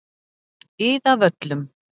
Iðavöllum